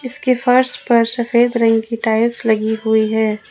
इसके फर्श पर सफेद रंग की टाइल्स लगी हुई है।